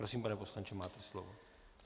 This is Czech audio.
Prosím, pane poslanče, máte slovo.